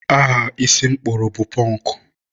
aha isi m kpụrụ bụ pọnkụ.